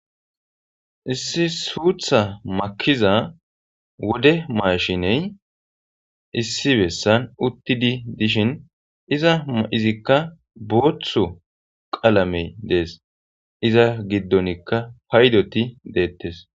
Issi suutha makiza wode maashiney issi bessan uttidi dishin iza izikka boothu qalamey dees iza giddonikka paydoti deettes.